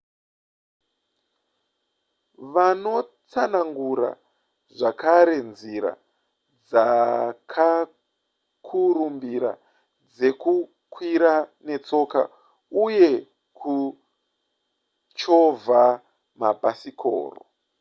vanotsanangura zvakare nzira dzakakurumbira dzekukwira netsoka uye kuchovha mabhasikoro